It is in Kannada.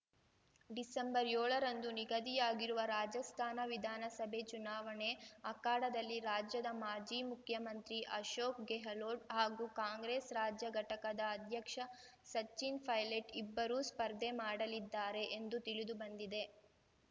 ಡಿಸೆಂಬರ್‌ ಯೋಳರಂದು ನಿಗದಿಯಾಗಿರುವ ರಾಜಸ್ಥಾನ ವಿಧಾನಸಭೆ ಚುನಾವಣೆ ಅಖಾಡದಲ್ಲಿ ರಾಜ್ಯದ ಮಾಜಿ ಮುಖ್ಯಮಂತ್ರಿ ಅಶೋಕ್‌ ಗೆಹ್ಲೋಟ್‌ ಹಾಗೂ ಕಾಂಗ್ರೆಸ್‌ ರಾಜ್ಯ ಘಟಕದ ಅಧ್ಯಕ್ಷ ಸಚಿನ್‌ ಪೈಲೆಟ್‌ ಇಬ್ಬರೂ ಸ್ಪರ್ಧೆ ಮಾಡಲಿದ್ದಾರೆ ಎಂದು ತಿಳಿದುಬಂದಿದೆ